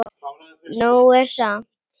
Nóg er samt.